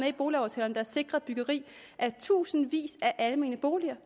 i boligaftalerne der sikrer byggeri af tusindvis af almene boliger